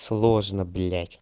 сложно блять